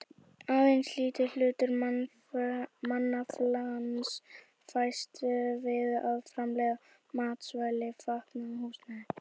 Aðeins lítill hluti mannaflans fæst við að framleiða matvæli, fatnað og húsnæði.